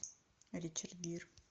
ричард гир